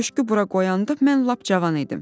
Köşkü bura qoyanda mən lap cavan idim.